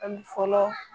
Ani fɔlɔ